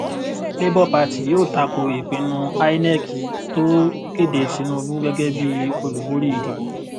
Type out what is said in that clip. labour party yóò tako ìpinnu inec tó kéde tinubu gẹgẹ bí olùbórí ìdìbò